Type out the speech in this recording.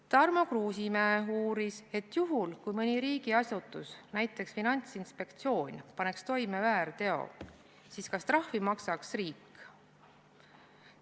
Tarmo Kruusimäe uuris, et juhul kui mõni riigiasutus, näiteks Finantsinspektsioon, paneks toime väärteo, siis kas trahvi maksaks riik.